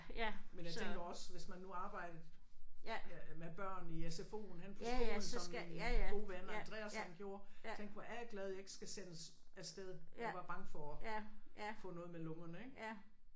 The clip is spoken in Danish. Men jeg tænker også hvis man nu arbejdede ja med børn i SFO'en henne på skolen som min gode ven Andreas han gjorde tænke hvor er jeg glad jeg ikke skal sendes afsted og være bange for at få noget med lungerne ik